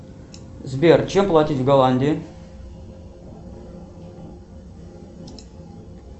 сбер чем платить в голландии